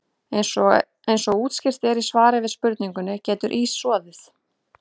Eins og útskýrt er í svari við spurningunni Getur ís soðið?